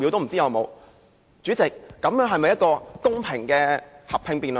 主席，這是否一個公平的合併辯論？